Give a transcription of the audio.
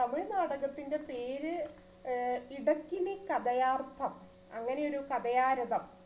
തമിഴ് നാടകത്തിന്റെ പേര് ഏർ ഇടക്കിനി കതയാർത്ഥം അങ്ങനെയൊരു കതയാരതം